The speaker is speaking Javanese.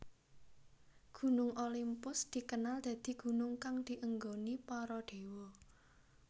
Gunung Olimpus dikenal dadi gunung kang dienggoni para déwa